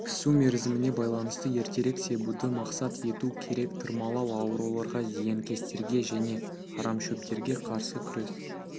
пісу мерзіміне байланысты ертерек себуді мақсат ету керек тырмалау ауруларға зиянкестерге және арамшөптерге қарсы күрес